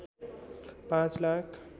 पाँच लाख